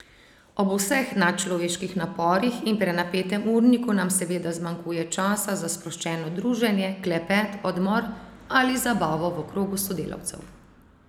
Ob vseh nadčloveških naporih in prenapetem urniku nam seveda zmanjkuje časa za sproščeno druženje, klepet, odmor ali zabavo v krogu sodelavcev.